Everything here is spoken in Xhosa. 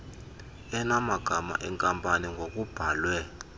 enamagama enkampani ngokubhalwe